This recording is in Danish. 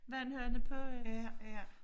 Vandhane på øh